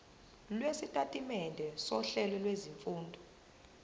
lwesitatimende sohlelo lwezifundo